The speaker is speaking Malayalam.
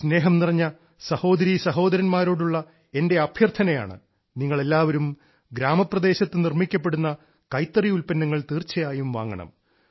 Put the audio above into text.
സ്നേഹം നിറഞ്ഞ സഹോദരരീ സഹോദരൻമാരോടുള്ള എന്റെ അഭ്യർത്ഥനയാണ് നിങ്ങൾ എല്ലാവരും ഗ്രാമപ്രദേശത്ത് നിർമ്മിക്കപ്പെടുന്ന കൈത്തറി ഉൽപ്പന്നങ്ങൾ തീർച്ചയായും വാങ്ങണം